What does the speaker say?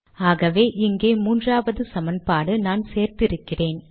ஆகவே இங்கே மூன்றாவது சமன்பாடு நான் சேர்த்து இருக்கிறேன்